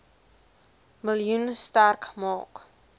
miljoen sterk maak